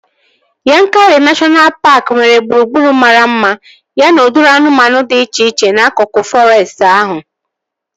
Yankari neshọna paaki nwere gburugburu mara mma ya na udiri anụmanụ dị iche iche n'akụkụ fọrestị ahụ